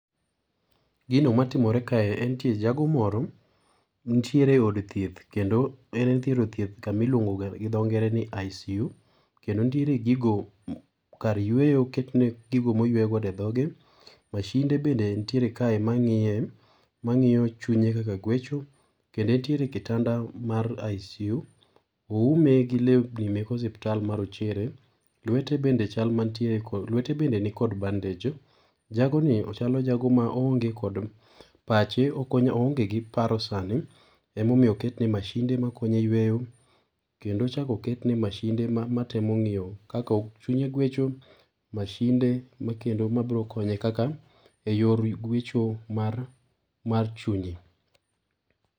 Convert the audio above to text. Gino matimore kae en nitie jago moro nitiere od thieth kendo en kama iluongoga gi dho ngere ni ICU kendo nitiere gigo kar yueyo oketne gigo moyueyo godo edhoge, mashinde bende nitiere kae mang'iye, mang'iyo chunye kaka gwecho kendo entiere e kitanda mar ICU. Oume gi lewni mek ospital marochere, lwete bende chal mantie kod lwete bende nikod bandage. Jago ni ochalo jago ma oonge kod pache oonge gi paro sani, emomiyo oketne mashin de makonye yueyo kendo ochak oketne mashin de ma matemo ng'iyo kaka chunye gwecho mashin de makendo mabro konye kaka eyor gwecho mar chunye